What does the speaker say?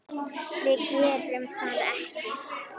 Við gerðum það ekki.